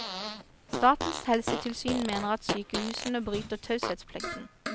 Statens helsetilsyn mener sykehusene bryter taushetsplikten.